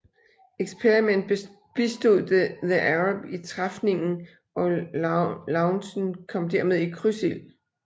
Experiment bistod The Arab i træfningen og Lougen kom dermed i krydsild